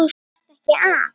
Þarftu ekki að.?